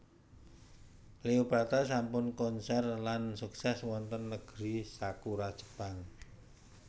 Cleopatra sampun konser lan sukses wonten negeri Sakura Jepang